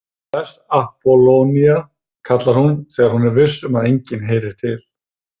Bless Appólónía, kallar hún þegar hún er viss um að enginn heyri til.